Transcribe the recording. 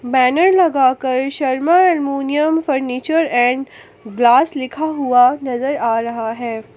Banner लगाकर Sharma aluminium furniture and glass लिखा हुआ नजर आ रहा है।